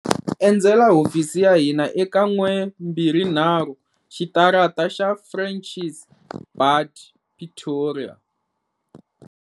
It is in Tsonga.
Endzela hofisi ya hina eka 123 Xitarata xa Francis Baard, Pretoria.